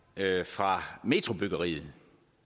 fra metrobyggeriet